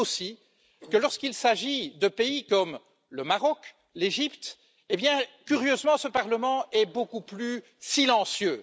Je note aussi que lorsqu'il s'agit de pays comme le Maroc ou l'Égypte, curieusement, ce Parlement est beaucoup plus silencieux.